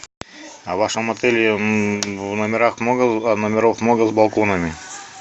а в вашем отеле номеров много с балконами